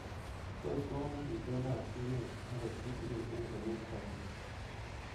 Tos kowalak itondoab emet akot kitingin eng komutu kasi?